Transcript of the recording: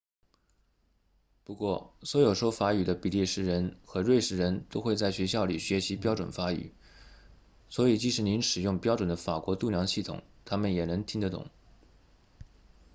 不过所有说法语的比利时人和瑞士人都会在学校里学习标准法语所以即使您使用标准的法国度量系统他们也能听得懂